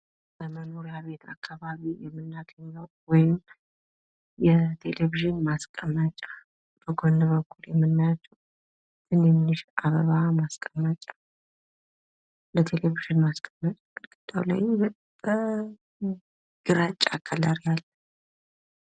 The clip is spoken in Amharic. በመኖርያ ቤት አካባቢ የምናገኘው ወይም የቴሌቬዥን ማስቀመጫ በጎን በኩል የምናያቸው ትንንሽ አበባ ማስቀመጫ ለተሌቬዥን ማስቀመጫ ግድግዳው ላይ ግራጫ ከለር ያለው።